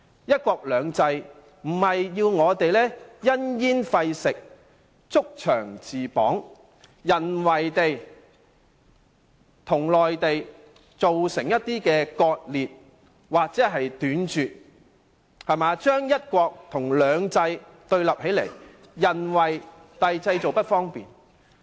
"一國兩制"並非要求我們因噎廢食，築牆自綁，在本港與內地之間製造一些人為割裂，令"一國"與"兩制"對立起來，造成諸般不便。